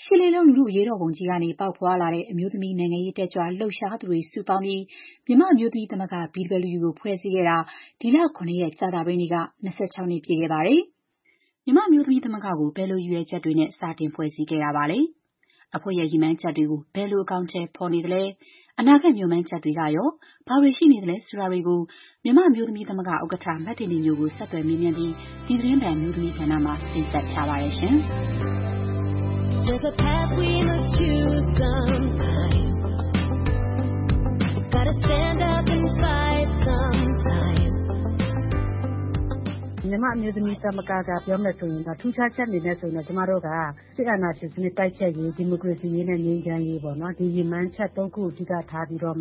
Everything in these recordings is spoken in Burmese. ရှစ်လေးလုံး လူထုအရေးတော်ပုံကနေ ပေါက်ဖွားလာခဲ့တဲ့ အမျိုးသမီးနိုင်ငံရေး တက်ကြွလှုပ်ရှားသူတွေ စုပေါင်းပြီး မြန်မာ့အမျိုးသမီးသမဂ္ဂ ကို ဖွဲ့စည်းခဲ့တာ ဒီလ ၇ ရက် ကြာသပတေးနေ့က ၂၆ နှစ် ပြည့်ခဲ့ပါတယ်။ မြန်မာ့အမျိုးသမီးသမဂ္ဂကို ဘယ်လိုရည်ရွယ်ချက်တွေနဲ့ စတင်ဖွဲ့စည်းခဲ့တာပါလဲ။ အဖွဲ့ရဲ့ ရည်မှန်းချက်တွေကို ဘယ်လို အကောင်အထည် ဖော်နေသလဲ။ အနာဂတ်မေ ျှာ်မှန်းချက်တွေကရော ဘာတွေ ရှိနေလဲ ဆိုတာတွေကို မြန်မာ့အမျိုးသမီးသမဂ္ဂ ဥက္ကဋ္ဌ မတင်တင်ညိုကို ဆက်သွယ်မေးမြန်းပြီး ဒီသီတင်းပတ် အမျိုးသမီးကဏ္ဍမှာ မခင်ဖြူထွေးက တင်ဆက်ထားပါတယ်။ “မြန်မာ့အမျိုးသမီးသမဂ္ဂက ပြောရမယ်ဆိုရင်တော့ ထူးခြားချက် အနေနဲ့ဆိုရင်တော့ ကျမတို့က စစ်အာဏာရှင်စနစ် တိုက်ဖျက်ရေး၊ ဒီမိုကရေစီရေးနဲ့ ငြိမ်းချမ်းရေးပေါ့နော်။ ဒီရည်မှန်းချက် ၃ ခုကို အဓိက ထားပြီးတော့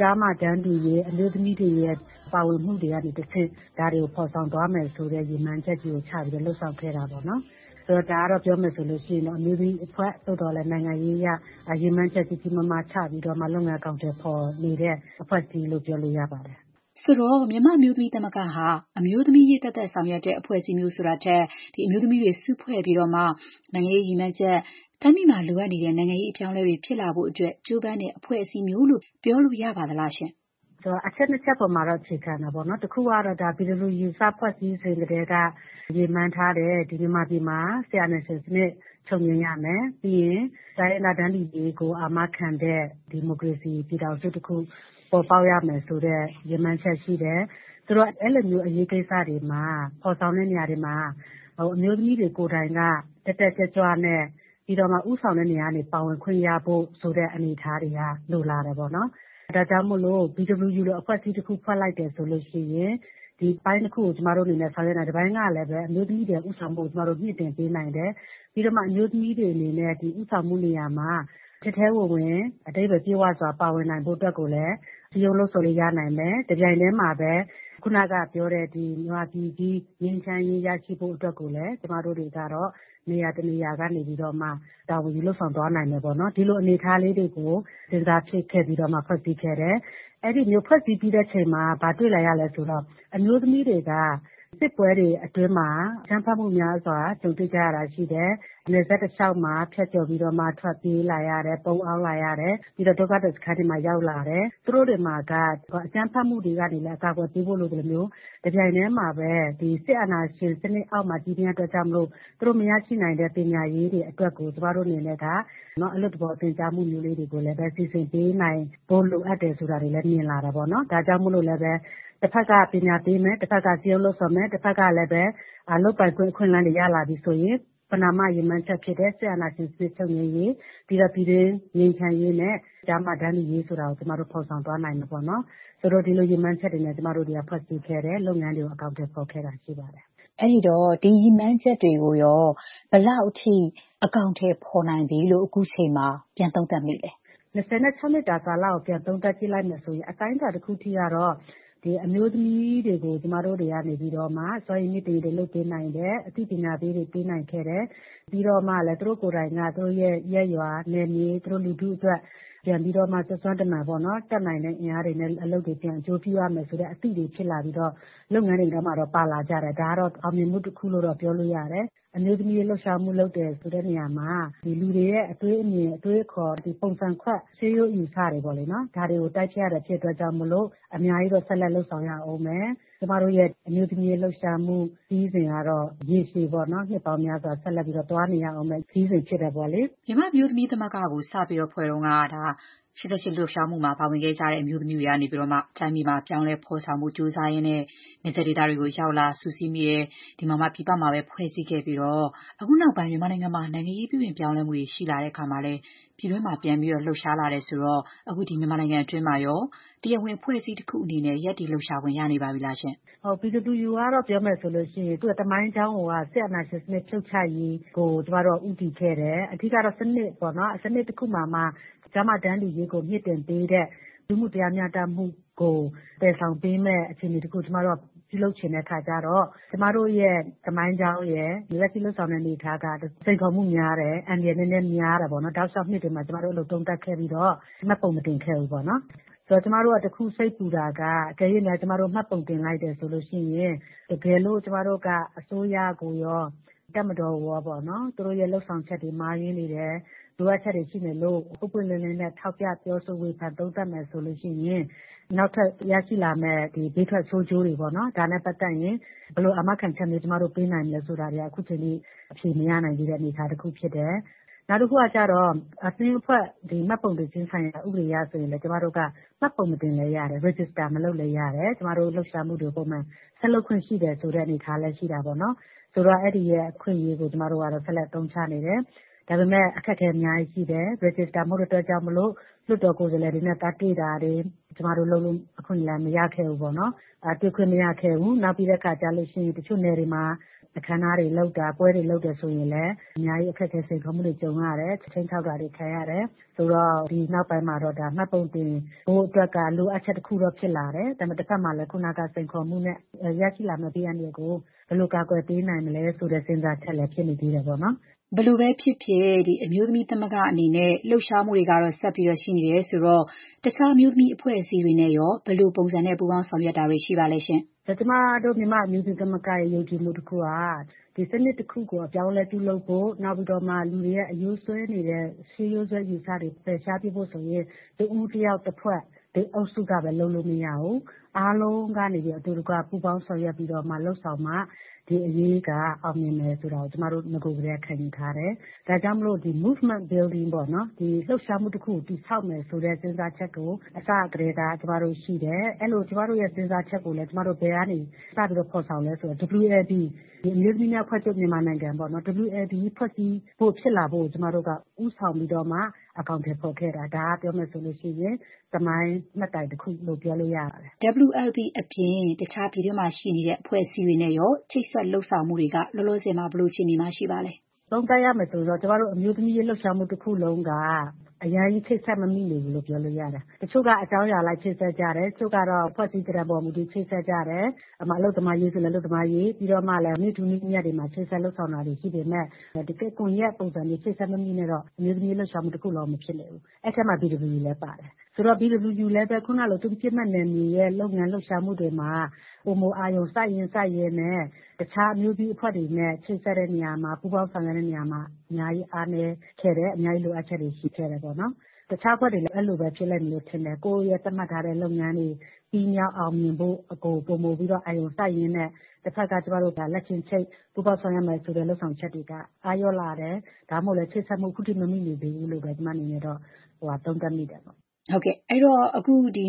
ကျားမ တန်းတူရေး၊ အမျိုးသမီးတွေရဲ့ ပါဝင်မှုတွေ ကနေတဆင့် ဒါတွေကို ဖော်ဆောင်သွားမယ်ဆိုတဲ့ ရည်မှန်းချက်ကြီးကို ချပြီးတော့ လုပ်ဆောင်ခဲ့တာပေါ့နော်။ ဆိုတော့ ဒါကတော့ ပြောမယ်ဆိုရင် အမျိုးသမီးအဖွဲ့။ သို့သော်လည်း နိုင်ငံရေးအရ ရည်မှန်းချက်ကြီးကြီးမားမား ချပြီးတော့မှ လုပ်ငန်း အကောင်အထည် ဖော်နေတဲ့ အဖွဲ့အစည်းလို့ ပြောလို့ရပါတယ်။” ဆိုတော့ မြန်မာ့အမျိုးသမီးသမဂ္ဂဟာ အမျိုးသမီးရေးသက်သက် ဆောင်ရွက်တဲ့ အဖွဲ့အစည်းမျိုး ဆိုတာမျိုးထက် အမျိုးသမီးတွေစုဖွဲ့ပြီး နိုင်ငံရေး ရည်မှန်းချက်၊ တိုင်းပြည်မှာ လိုအပ်တဲ့ နိုင်ငံရေး အပြောင်းအလဲတွေ ဖြစ်လာဖို့ ကြိုးပမ်းတဲ့ အဖွဲ့အစည်းမျိုးလို့ ပြောလို့ရပါသလား။ “အချက် နှစ်ချက်အပေါ်မှာတော့ အခြေခံတာပေါ့နော်။ တခုကတော့ BWU စဖွဲ့စည်းစဉ်ကတည်းက ရည်မှန်းထားတဲ့ မြန်မာပြည်မှာ စစ်အာဏာရှင်စနစ် ချုပ်ငြိမ်းရမယ်။ ပြီးရင် တိုင်းရင်းသား တန်းတူရေးကို အာမခံတဲ့ ဒီမိုကရေစီ ပြည်ထောင်စုတခု ပေါ်ပေါက်ရမယ်ဆိုတဲ့ ရည်မှန်းချက် ရှိတယ်။ ဆိုတော့ အဲ့ဒီလိုမျိုး အရေးကိစ္စတွေမှာ ဖော်ဆောင်တဲ့နေရာတွေမှာ အမျိုးသမီးတွေကိုယ်တိုင်က တက်တက်ကြွကြွနဲ့ ပြီးတော့မှ ဦးဆောင်တဲ့နေရာကနေ ပါဝင်ခွင့်ရဖို့ ဆိုတဲ့ အနေအထားတွေက လိုလာတယ်ပေါ့နော်။ ဒါကြောင့်မိုလို့ BWU လို အဖွဲ့အစည်းတခု ဖွဲ့လိုက်တယ်ဆိုလို့ရှိရင် ဒီအပိုင်း နှစ်ခုကို ကျမတို့အနေနဲ့ ဆောင်ရွက်နိုင်တယ်။ တပိုင်းကလည်း အမျိုးသမီးတွေရဲ့ဦးဆောင်မှုကို ကျမတို့ မြှင့်တင်ပေးနိုင်တယ်။ ပြီးတော့မှ အမျိုးသမီးတွေ အနေနဲ့ ဒီ ဦးဆောင်မှုနေရာမှာ ထဲထဲဝင်ဝင် အဓိပ္ပါယ်ပြည့်ဝစွာ ပါဝင်နိုင်ဖို့အတွက်ကိုလည်း စည်းရုံး လှုံ့ဆော်လို့ ရနိုင်မယ်။ တပြိုင်တည်းမှာပဲ ခုနကပြောတဲ့ မြန်မာပြည်ကြီး ငြိမ်းချမ်းရေး ရရှိဖို့အတွက်ကိုလည်း ကျမတို့တွေက နေရာ တနေရာ ကနေပြီးတော့မှ တာဝန်ယူလုပ်ဆောင်သွားနိုင်မယ် ပေါ့နော်။ ဒီလိုအနေအထားလေးတွေကို ကျမတို့ စဉ်းစားပြီးတော့မှ ဖွဲ့စည်းခဲ့တယ်။ အဲ့ဒီလို ဖွဲ့စည်းပြီးတဲ့အခါမှာ ဘာတွေ့လာရလဲ ဆိုတော့ အမျိုးသမီးတွေက စစ်ပွဲတွေအတွင်းမှာ အကြမ်းဖက်မှုများစွာ ကြုံတွေ့ကြရတာ ရှိတယ်။ နယ်စပ်တလေ ျှာက်မှာ ဖြတ်ကျော်ပြီးတော့မှ ထွက်ပြေးလာရတယ်။ ပုန်းအောင်းလာရတယ်။ ပြီးတော့ ဒုက္ခသည်စခန်းတွေမှာ ရောက်လာတယ်။ သူတို့တွေမှာက အကြမ်းဖက်မှုတွေကနေလည်း အကာအကွယ်ပေးဖို့ လိုအပ်သလို၊ တပြိုင်တည်းမှာပဲ စစ်အာဏာရှင်စနစ်အောက်မှာ ကြီးပြင်းရတာကြောင့်မိုလို့ သူတို့မရရှိနိုင်တဲ့ ပညာရေးတွေအတွက်ကို ကျမတို့အနေနဲ့က အလွတ်သဘော သင်ကြားမှုမျိုးလေးတွေကိုလည်း စီစဉ်ပေးနိုင်ဖို့ လိုအပ်တယ်ဆိုတာတွေလည်း မြင်လာတယ်ပေါ့နော်။ ဒါကြောင့်မိုလို့လဲ တဘက်က ပညာပေးမယ်။ တဘက်က စည်းရုံးလှုံ့ဆော်မယ်။ တဘက်ကလည်း လုပ်ပိုင်ခွင့် အခွင့်အလမ်းတွေ ရလာပြီဆိုရင် ပဏာမရည်မှန်းချက်ဖြစ်တဲ့ စစ်အာဏာရှင်စနစ် ချုပ်ငြိမ်းရေး၊ ပြီးတော့ ပြည်တွင်း ငြိမ်းချမ်းရေး၊ ကျားမ တန်းတူရေး ဆိုတာကို ကျမတို့ ဖော်ဆောင်သွားနိုင်မယ်ပေါေ့နာ်။ ဆိုတော့ ဒီလိုရည်မှန်းချက်တွေနဲ့ ကျမတို့ ဖွဲ့စည်းခဲ့တယ်။ လုပ်ငန်းတွေကို အကောင်အထည် ဖော်ခဲ့တာရှိပါတယ်။” အဲ့ဒီတော့ ဒီရည်မှန်းချက်တွေကို ဘယ်လောက်အထိ အကောင်အထည် ဖော်နိုင်ပြီလို့ အခုချိန်မှာ ပြန် သုံးသပ်နိုင်ပါမလဲ။ “၂၆ နှစ်တာကာလကို ပြန်သုံးသပ်ကြည့်လိုက်မယ်ဆိုရင် အတိုင်းအတာ တခုအထိကတော့ အမျိုးသမီးတွေကို ကျမတို့တွေ စွမ်းရည်မြှင့်တင်ရေးတွေ လုပ်ပေးနိုင်တယ်။ အသိပညာပေးတွေ ပေးနိုင်ခဲ့တယ်။ ပြီးတော့ သူတို့ကိုယ်တိုင်က သူတို့ရဲ့ ရပ်ရွာ နယ်မြေ၊ သူတို့ လူထုအတွက် ပြန်ပြီးတော့မှ စွမ်းစွမ်းတမံ တတ်နိုင်တဲ့အင်အားတွေနဲ့ အလုပ်တွေ ပြန်အကျိုးပြုရမယ်ဆိုတဲ့ အသိတွေဖြစ်လာပြီးတော့ လုပ်ငန်းတွေထဲမှာ ပါလာကြတယ်။ ဒါကတော့ အောင်မြင်မှုတခုလို့ ပြောလို့ရတယ်။ အမျိုးသမီးရေး လှုပ်ရှားမှု လုပ်တယ်ဆိုတဲ့နေရာမှာ လူတွေရဲ့ အတွေးအမြင်၊ အတွေးအခေါ်၊ ပုံစံခွက် ရှေးရိုးအယူအဆတွေကို တိုက်ဖျက်ရတာဖြစ်လို့ အများကြီးတော့ ဆက်လက် လုပ်ဆောင်ရဦးမယ်။ ကျမတို့ရဲ့ အမျိုးသမီး လှုပ်ရှားမှု ခရီးစဉ်ကတော့ ရေရှည်ပေါ့နော် နှစ်ပေါင်းများစွာ ဆက်ပြီးတော့ သွားနေရဦးမယ့် ခရီးစဉ် ဖြစ်တယ်ပေါ့လေ။” မြန်မာ့အမျိုးသမီးသမဂ္ဂကို စဖွဲ့ခဲ့တုန်းက ဒါက ၈၈ လူထုလှုပ်ရှားမှု အရေးတော်ပုံမှာ ပါဝင်ခဲ့ကြတဲ့ အမျိုးသမီးတွေက တိုင်းပြည်မှာ အပြောင်းအလဲ ဖော်ဆောင်ဖို့ ကြိုးစားရင်း၊ နယ်စပ်ဒေသတွေကို ရောက်လာ စုစည်းမိပြီးတော့မှ ပြည်ပမှာပဲ ဖွဲ့စည်းခဲ့ပြီးတော့ အခုနောက်ပိုင်း မြန်မာနိုင်ငံမှာ နိုင်ငံရေး ပြုပြင်ပြောင်းလဲမှုတွေ ရှိလာတဲ့အခါမှာလည်း မြန်မာပြည်တွင်းမှာ လှုပ်ရှားလာတယ် ဆိုတော့ အခု မြန်မာနိုင်ငံတွင်းမှာရော တရားဝင် အဖွဲ့အစည်းတခု အနေနဲ့ ရပ်တည် လှုပ်ရှားခွင့်ရနေပါပြီလားရှင့်။ “BWU ကတော့ ပြောရမယ်ဆိုရင် သူ့ရဲ့သမိုင်းကြောင်းကိုက စစ်အာဏာရှင်စနစ် ဖြုတ်ချရေးကို ကျမတို့က ဦးတည်ခဲ့တယ်။ အဓိက ကတော့ စနစ်ပေါ့နော်။ စနစ်တခုမှာမှ ကျားမ တန်းတူရေးကို မြှင့်တင်ပေးတဲ့ လူမှုတရားမ ျှတမှုကို သယ်ဆောင်ပေးမယ့် အခြေအနေတခုကို ပြုလုပ်ချင်တဲ့အခါကျတော့ ကျမတို့ရဲ့သမိုင်းကြောင်းရယ်၊ လက်ရှိ လုပ်ဆောင်နေတဲ့ အနေအထားက စိန်ခေါ်မှုများတယ်။ အန္တရာယ် နည်းနည်း များတယ်ပေါ့နော်။ တောက်လေ ျှာက်နှစ်တွေမှာ ကျမတို့ အဲ့ဒီလို သုံးသပ်ခဲ့ပြီးတော့ မှတ်ပုံမတင်ခဲ့ဘူးပေါ့နော်။ ကျမတို့က တခု စိတ်ပူတာက အကယ်၍များ ကျမတို့ မှတ်ပုံတင် လုက်တယ်ဆိုရင်၊ တကယ်လို့ ကျမတို့က အစိုးရကိုရော တပ်မတော်ကိုရော သူတို့ရဲ့လုပ်ဆောင်ချက်တွေ မှားယွင်းနေတယ်။ လိုအပ်ချက်တွေ ရှိနေလို့ ပွင့်ပွင့်လင်းလင်း ထောက်ပြ ပြောဆို ဝေဖန် သုံးသပ်မယ် ဆိုလို့ရှိရင် နောက်ထပ် ရရှိလာမယ့် ဘေးထွက်ဆိုးကျိုးတွေပေါ့နော်။ ဒါနဲ့ပတ်သက်ရင် ဘယ်လို အာမခံချက်မျိုး ပေးနိုင်မလဲ ဆိုတာတွေက အခုချိန်ထိ အဖြေမရနိုင်သေးတဲ့ အနေအထားဖြစ်တယ်။ နောက်တခုကကျတော့ အသင်းအဖွဲ့မှတ်ပုံတင်ခြင်းဆိုင်ရာ ဥပဒေအရ ဆိုရင်လည်း ကျမတို့က မှတ်ပုံမတင်လည်း ရတယ်။ register မလုပ်လည်း ရတယ်။ ကျမတို့ လှုပ်ရှားမှုတွေကို ပုံမှန် ဆက်လုပ်ခွင့်ရှိတယ်ဆိုတဲ့ အနေအထားလည်း ရှိတာပေါ့နော်။ ဆိုတော့ အဲ့ဒီအခွင့်အရေးကို ကျမတို့က ဆက်လက် အသုံးချနေတယ်။ ဒါပေမဲ့ အခက်အခဲ အများကြီး ရှိတယ်။ register မဟုတ်တဲ့အတွက်ကြောင့်မိုလို့ လွှတ်တော်ကိုယ်စားလှယ်တွေနဲ့ သွားတွေ့တာတွေ ကျမတို့လုပ်ဖို့ အခွင့်အရေး မရခဲ့ဘူးပေါ့နော်။ တွေ့ခွင့်မရဘူး။ နောက်ပြီးတဲ့အခါကျတော့ တချို့ နယ်တွေမှာ အခမ်းအနားတွေ လုပ်တယ်၊ ပွဲတွေလုပ်တယ်ဆိုရင်လည်း အများကြီး အခက်အခဲ စိန်ခေါ်မှုတွေ ကြုံရတယ်။ ခြိမ်းခြောက်တာတွေ ခံရတယ်။ ဆိုတော့ ဒီနောက်ပိုင်းမှာတော့ မှတ်ပုံတင်ဖို့အတွက်က လိုအပ်ချက် တခုက ဖြစ်လာတယ်။ ဒါပေမဲ့ တဘက်မှာလည်း ခုနကပြောတဲ့ စိန်ခေါ်မှုနဲ့ ရရှိလာနိုင်တဲ့ ဘေးအန္တရာယ်ကို ဘယ်လို ကာကွယ်ပေးနိုင်မလဲ ဆိုတဲ့ စဉ်းစားချက်လည်း ဖြစ်နေသေးတယ်ပေါ့နော်။” ဘယ်လိုပဲဖြစ်ဖြစ် မြန်မာ့အမျိုးသမီးသမဂ္ဂ အနေနဲ့ လှုပ်ရှားမှုတွေကတော့ ဆက်ရှိနေတယ်ဆိုတော့ တခြား အမျိုးသမီးအဖွဲ့အစည်းတွေနဲ့ရော ဘယ်လိုပုံစံနဲ့ ပူးပေါင်း ဆောင်ရွက်နေတာတွေ ရှိပါလဲ။ “ကျမတို့ မြန်မာ့အမျိုးသမီးသမဂ္ဂရဲ့ ယုံကြည်မှုတခုက စနစ်တခုကို အပြောင်းအလဲပြုလုပ်ဖို့၊ နောက်ပြီးတော့ လူတွေရဲ့ အရိုးစွဲနေတဲ့ ရှေးရိုးစွဲ အယူအဆတွေ ဖယ်ရှားပစ်ဖို့ဆိုရင် တစ်ဦး၊ တစ်ယောက်၊ တစ်ဖွဲ့၊ တစ်အုပ်စုကပဲ လုပ်လို့မရဘူး။ အားလုံးက အတူတကွ ပူးပေါင်းဆောင်ရွက်ပြီးတော့ လုပ်ဆောင်မှ ဒီအရေးက အောင်မြင်မယ်ဆိုတာကို ကျမတို့က နဂိုကတည်းက ခံယူထားတယ်။ ဒါကြောင့်မိုလို့ movement builing ပေါ့နော်။ လှုပ်ရှားမှုတခုကို တည်ဆောက်မယ်ဆိုတဲ့ စဉ်းစားချက်ကို အစကတည်းက ကျမတို့ရှိတယ်။ အဲ့ဒီလို ကျမတို့ရဲက စဉ်းစားချက်ကိုလည်း ဘယ်ကနေ စပြီးတော့ ဖော်ဆောင်လဲ ဆိုတော့ WLB အမျိုးသမီးများအဖွဲ့ချုပ် ဖွဲ့စည်းဖို့ ဖြစ်လာဖို့ကို ကျမတို့က ဦးဆောင်ပြီးတော့မှ အကောင်အထည် ဖော်ခဲ့တာ။ ဒါက ပြောမယ်ဆိုရင် သမိုင်းမှတ်တိုင်တခုလို့ ပြောလို့ရပါတယ်။” WLB အပြင် တခြား ပြည်တွင်းမှာရှိနေတဲ့ အမျိုးသမီးအဖွဲ့တွေနဲ့ရော ချိတ်ဆက်လုပ်ဆောင်မှုတွေက လောလောဆယ် ဘယ်လို အခြေအနေမှာ ရှိနေပါလဲ။ “ကျမတို့ အမျိုးသမီးရေးလှုပ်ရှားမှု တခုလုံးက အရမ်းကြီး ချိတ်ဆက် မမိနေဘူးလို့ ပြောလို့ရတယ်။ တချို့က အကြောင်းအရာအလိုက် ချိတ်ဆက်ကြတယ်။ တချို့က အဖွဲ့အစည်းသဏ္ဍန်ပေါ် မူတည်ပြီး ချိတ်ဆက်ကြတယ်။ ဥပမာ အလုပ်သမားအရေး ဆိုရင်လဲ အလုပ်သမားအရေး။ ပြီးတော့မှ နေ့ထူးနေ့မြတ်တွေမှာ ချိတ်ဆက်လုပ်ဆောင်တာတွေ ရှိပေမဲ့ တကယ့် ကွန်ရက်ပုံစံမျိုး အချိတ်အဆက် မိမိနဲ့တော့ အမျိုးသမီးရေး လှုပ်ရှားမှု တခုလုံးက မဖြစ်နေဘူး။ ဆိုတော့ BWU လည်းပဲ သူ့ရဲ့ပစ်မှတ်နယ်မြေရဲ့ လုပ်ငန်း လှုပ်ရှားမှုတွေမှာ ပိုမို အာရုံ စိုက်ရင်းနဲ့ တခြား အမျိုးသမီးအဖွဲ့တွေနဲ့ ချိတ်ဆက်တဲ့နေရာမှာ ပူးပေါင်းဆောင်ရွက်တဲ့ နေရာမှာ အများကြီးအားနည်းခဲ့တယ်။ အများကြီး လိုအပ်ချက်တွေ ရှိခဲ့တယ်။ တခြား အဖွဲ့တွေလည်း အဲ့ဒီလိုပဲ ဖြစ်လိမ့်မယ်လို့ ထင်တယ်။ ကိုယ့်ရဲ့သတ်မှတ်ထားတဲ့ လုပ်ငန်းတွေ ပြီးမြောက်အောင်မြင်ဖို့ကို ပိုပြီးအာရုံစိုက်ရင်းနဲ့ တဘက်က ကျမတို့ လက်ချင်းချိတ် ပူးပေါင်း ဆောင်ရွက်မယ်ဆိုတဲ့ လုပ်ဆောင်ချက်တွေက အားလျော့လာတယ်။ ဒါမှမဟုတ်ရင်လည်း ချိတ်ဆက်မှု ခုထိ မမိနေသေးဘူးလို့ပဲ ကျမ အနေနဲ့ သုံးသပ်မိပါတယ်။” အဲ့ဒီတော့ အခု ၂၆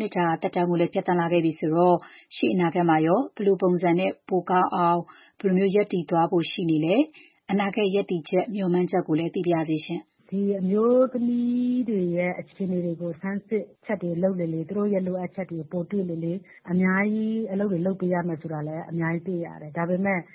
နှစ်တာ သက်တမ်းကိုလည်း ဖြတ်သန်းလာခဲ့ပြီဆိုတော့ ရှေ့ အနာဂတ်မှာရော ဘယ်လို ပုံစံနဲ့ ပိုကောင်းအောင် ဘယ်လိုမျိုး ရပ်တည်သွားဖို့ရှိနေလဲ။ အနာဂတ် ရပ်တည်ချက်၊ မေ ျှာ်မှန်းချက်ကိုလည်း သိပါရစေရှင့်။ “အမျိုးသမီးတွေရဲ့ အခြေအနေတွေကို စမ်းစစ်ချက်တွေ လုပ်လေလေ၊ သူတို့ရဲ့လိုအပ်ချက်တွေကို ပိုတွေ့လေလေ။ အများကြီး အလုပ်တွေ လုပ်ပေးရမယ်ဆိုတာလည်း အများကြီး သိရတယ်။ ဒါပေမဲ့ ကျ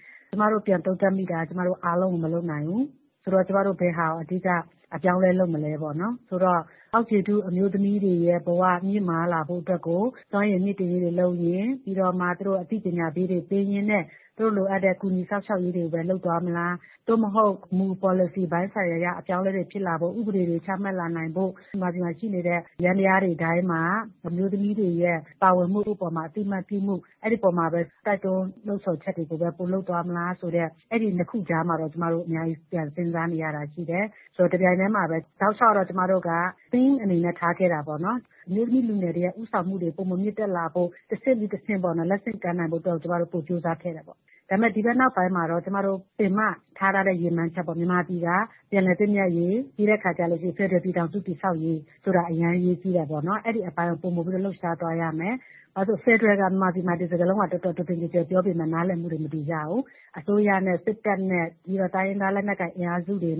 မတို့ ပြန်သုံးသပ်မိတာက ကျမတို့အားလုံးကို မလုပ်နိုင်ဘူး။ ဆိုတော့ ကျမတို့ ဘယ်ဟာကို အဓိကအပြောင်းအလဲ လုပ်မလဲပေါ့နော်။ ဆိုတော့ အောက်ခြေထု အမျိုးသမီးတွေရဲ့ဘဝ မြင့်မားလာဖို့အတွက်ကို စွမ်းရည်မြှင့်တင်ရေးတွေ လုပ်ရင်း၊ ပြီးတော့မှ သူတို့ကို အသိပညာပေးတွေ လုပ်ပေးရင်းနဲ့ သူတို့လိုအပ်တဲ့ ကူညီ စောင့်ရှောက်ရေးတွေကိုပဲ လုပ်သွားမလား။ သို့မဟုတ် မူ ပေါ်လစီပိုင်း ဆိုင်ရာအရ အပြောင်းအလဲတွေ ဖြစ်လာဖို့၊ ဥပဒေတွေ ချမှတ်လာနိုင်ဖို့၊ မြန်မာပြည်မှာရှိနေတဲ့ ယန္တရားတွေတိုင်းမှာ အမျိုးသမီးတွေရဲ့ ပါဝင်မှုအပေါ်မှာ အသိအမှတ်ပြုမှု။ အဲ့ဒီအပေါ်မှာပဲ စည်းရုံးလှုံ့ဆော်မှုတွေ၊ တိုက်တွန်း လှုံ့ဆော်ချက်တွေကိုပဲ ပိုလုပ်သွားမလား ဆိုတဲ့ အဲ့ဒီနှစ်ခုကြားမှာတော့ ကျမတို့ အများကြီး ပြန်စဉ်းစားနေရတာ ရှိတယ်။ တပြိုင်တည်းမှာပဲ တောက်လေ ျှာက်ကတော့ ကျမတို့က Theme အနေနဲ့ ထားခဲ့တာက အမျိုးသမီးလူငယ်တွေရဲ့ ဦးဆောင်မှု ပိုမိုမြင့်တက်လာဖို့ တဆင့်ပြီးတဆင့် လက်ဆင့်ကမ်းနိုင်ဖို့အတွက် ကျမတို့ ပိုကြိုးစားခဲ့တယ်။ ဒါပေမဲ့ ဒီဘက်နောက်ပိုင်းမှာတော့ ကျမတို့ ပင်မ ထား ထားတဲ့ ရည်မှန်းချက်ပေါ့ မြန်မာပြည် ပြန်လည်သင့်မြတ်ရေး၊ ဖက်ဒရယ်ပြည်ထောင်စု တည်ဆောက်ရေး ဆိုတာ အရမ်းအရေးကြီးတယ်ပေါ့နော်။ အဲ့ဒီအပိုင်းကို ပိုမိုပြီးတော့ လှုပ်ရှားသွားရမယ်။ ဘာဖြစ်လို့လဲဆိုတော့ ဖက်ဒရယ်ဟာ မြန်မာပြည်မှာ ဒီစကားလုံးကို တော်တော် တွင်တွင်ကျယ်ကျယ် ပြောပေမဲ့ နားလည်မှုတွေ မတူကြဘူး။ အစိုးရနဲ့ စစ်တပ်နဲ့ ပြီးတော့ တိုင်းရင်းသား လက်နက်ကိုင် အင်အားစုတွေ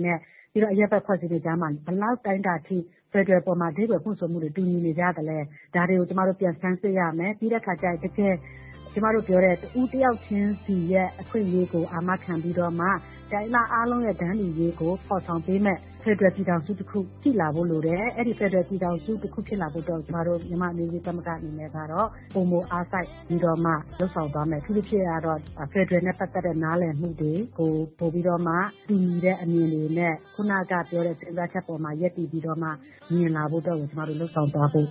၊ အရပ်ဖက်အဖွဲ့အစည်းတွေ ကြားမှာ ဘယ်လောက် အတိုင်းအတာအထိ ဖက်ဒရယ်အပေါ်မှာ အဓိပ္ပါယ်ဖွင့်ဆိုမှုတွေ တူညီနေကြသလဲ။ ဒါတွေကို ကျမတို့ ပြန် ဆန်းစစ်ရမယ်။ ပြီးတဲ့အခါကျရင် တကယ် ကျမတို့ပြောတဲ့ တဦးတယောက်ချင်းစီရဲ့ အခွင့်အရေးကို အာမခံပြီးတော့မှ တိုင်းရင်းသား အားလုံးရဲ့ တန်းတူရေးကို ဖော်ဆောင်ပေးမယ့် ဖက်ဒရယ် ပြည်ထောင်စုတခု ရှိလာဖို့ လိုတယ်။ အဲ့ဒီဖက်ဒရယ်ပြည်ထောင်စု ဖြစ်လာဖို့အတွက်ကို ကျမတို့ မြန်မာ့အမျိုးသမီးသမဂ္ဂ အနေနဲ့ ကတော့ ပိုမိုအားစိုက်ပြီး လုပ်ဆောင်သွားမယ်။ အထူးသဖြင့်ကတော့ ဖက်ဒရယ်နဲ့ပတ်သက်တဲ့ နားလည်မှုတွေကို ပိုပြီးတော့ တူညီတဲ့အမြင်တွေနဲ့ ခုနကပြောတဲ့ စဉ်းစားချက်အပေါ်မှာ ရပ်တည်ပြီးတော့မှ မြင်လာဖို့အတွက် လုပ်ဆောင်သွားဖို့